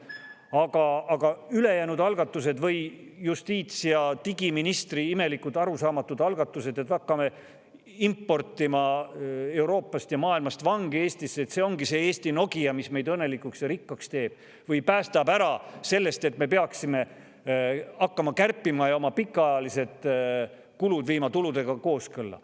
Aga justiits‑ ja digiministri imelikud, arusaamatud algatused, et hakkame importima Euroopast ja maailmast vange Eestisse, see ongi see Eesti Nokia, mis meid õnnelikuks ja rikkaks teeb või päästab ära sellest, et me peaksime hakkama kärpima ja viima oma pikaajalised kulud tuludega kooskõlla.